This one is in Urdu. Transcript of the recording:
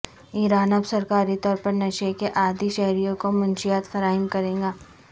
ایران اب سرکاری طور پر نشے کے عادی شہریوں کو منشیات فراہم کرے گا